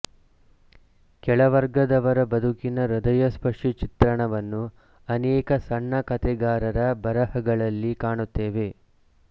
ಕೆಳವರ್ಗದವರ ಬದುಕಿನ ಹೃದಯಸ್ಪರ್ಶಿ ಚಿತ್ರಣವನ್ನು ಅನೇಕ ಸಣ್ಣಕತೆಗಾರರ ಬರೆಹಗಳಲ್ಲಿ ಕಾಣುತ್ತೇವೆ